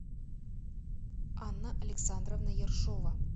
анна александровна ершова